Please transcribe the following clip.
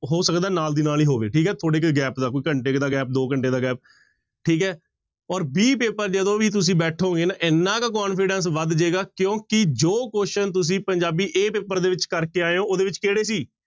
ਹੋ ਸਕਦਾ ਨਾਲ ਦੀ ਨਾਲ ਹੀ ਹੋਵੇ ਠੀਕ ਹੈ ਥੋੜ੍ਹੇ ਕੁ gap ਦਾ, ਕੋਈ ਘੰਟੇ ਦਾ gap ਦੋ ਘੰਟੇ ਦਾ gap ਠੀਕ ਹੈ ਔਰ b ਪੇਪਰ ਜਦੋਂ ਵੀ ਤੁਸੀਂ ਬੈਠੋਗੇ ਨਾ ਇੰਨਾ ਕੁ confidence ਵੱਧ ਜਾਏਗਾ ਕਿਉਂਕਿ ਜੋ question ਤੁਸੀਂ ਪੰਜਾਬੀ a ਪੇਪਰ ਦੇ ਵਿੱਚ ਕਰਕੇ ਆਏ ਹੋ ਉਹਦੇ ਵਿੱਚ ਕਿਹੜੇ ਸੀ,